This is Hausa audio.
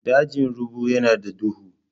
Dajin rubu yana da duhu.